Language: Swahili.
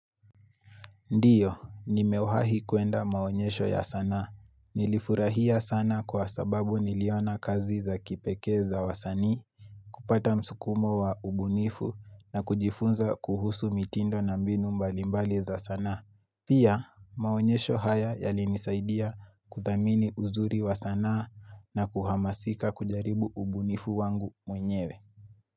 Ndiyo, nimewahi kuenda maonyesho ya sanaa. Nilifurahia sana kwa sababu niliona kazi za kipekee za wasanii. Kupata msukumo wa ubunifu na kujifunza kuhusu mitindo na mbinu mbalimbali za sana. Pia, maonyesho haya yalinisaidia kuthamini uzuri wa sanaa na kuhamasika kujaribu ubunifu wangu mwenyewe.